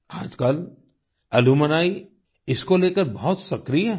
आजकल अलुम्नी इसको लेकर बहुत सक्रिय हैं